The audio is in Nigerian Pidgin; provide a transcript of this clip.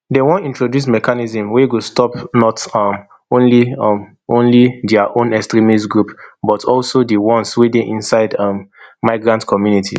dem wan introduce mechanisms wey go stop not um only um only dia own extremist groups but also di ones wey dey inside um migrant communities